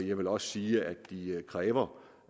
jeg vil også sige at de kræver